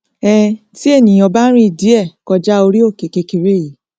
um tí ènìà bá rìn díẹ kọjá orí òkè kékeré yìí